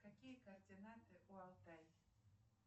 какие координаты у алтая